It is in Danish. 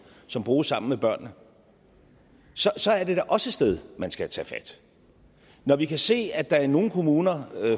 som bruges sammen med børnene så så er det da også et sted man skal tage fat når vi kan se at der i nogle kommuner